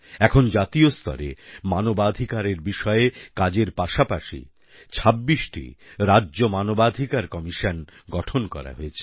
এখন জাতীয় স্তরে মানবাধিকার বিষয়ে কাজের পাশাপাশি 26 টি রাজ্য মানবাধিকার কমিশন গঠন করা হয়েছে